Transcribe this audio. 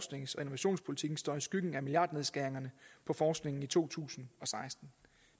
innovationspolitikken står i skyggen af milliardnedskæringerne på forskningen i to tusind og seksten